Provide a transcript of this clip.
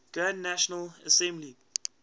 grand national assembly